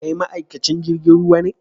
Kai ma'aikacin jirigin ruwa ne?